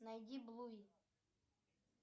найди блуи